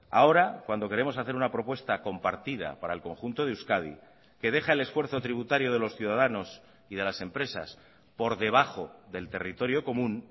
ahora cuando queremos hacer una propuesta compartida para el conjunto de euskadi que deja el esfuerzo tributario de los ciudadanos y de las empresas por debajo del territorio común